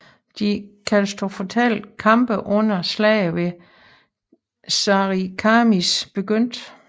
De katastrofale kampe under slaget ved Sarikamish begyndte